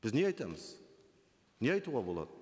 біз не айтамыз не айтуға болады